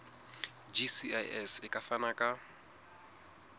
gcis e ka fana ka